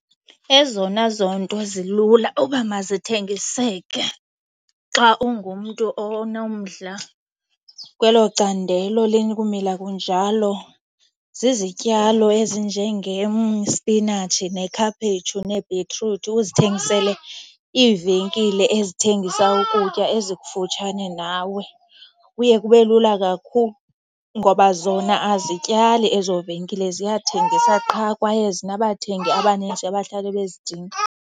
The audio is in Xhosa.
Ezona zinto zilula uba mazithengiseke xa ungumntu onomdla kwelo candelo likumila kunjalo zizityalo ezinjengespinatshi nekhaphetshu nebhitruthi, uzithengisele iivenkile ezithengisa ukutya ezikufutshane nawe. Kuye kube lula kakhulu ngoba zona azityali ezo venkile, ziyathengisa qha kwaye zinabathengi abaninzi abahlale bezidinga.